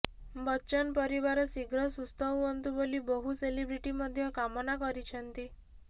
ବଚ୍ଚନ ପରିବାର ଶୀଘ୍ର ସୁସ୍ଥ ହୁଅନ୍ତୁ ବୋଲି ବହୁ ସେଲିବ୍ରିଟି ମଧ୍ୟ କାମନା କରିଛନ୍ତି